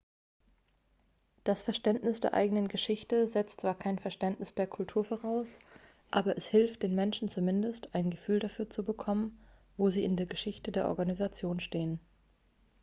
das verständnis der eigenen geschichte setzt zwar kein verständnis der kultur voraus aber es hilft den menschen zumindest ein gefühl dafür zu bekommen wo sie in der geschichte der organisation stehen